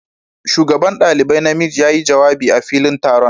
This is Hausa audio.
shugaban dalibai na miji ya yi jawabi a filin taron.